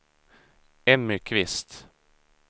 Emmy Kvist